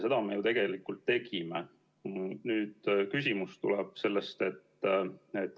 Seda me ju tegelikult tegime.